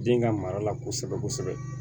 Den ka mara la kosɛbɛ kosɛbɛ